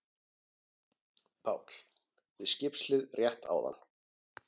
PÁLL: Við skipshlið rétt áðan.